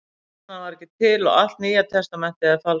Stjarnan var ekki til og allt Nýja testamentið er falsað.